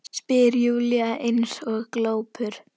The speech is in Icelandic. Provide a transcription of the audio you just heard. spyr Júlía eins og glópur.